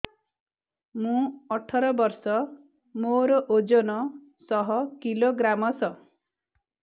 ମୁଁ ଅଠର ବର୍ଷ ମୋର ଓଜନ ଶହ କିଲୋଗ୍ରାମସ